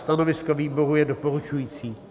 Stanovisko výboru je doporučující.